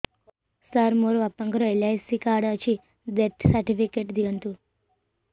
ସାର ମୋର ବାପା ଙ୍କର ଏଲ.ଆଇ.ସି ଅଛି ଡେଥ ସର୍ଟିଫିକେଟ ଦିଅନ୍ତୁ